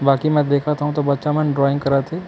बाकी म देख थव त बच्चा मन ड्राइंग करा थे ।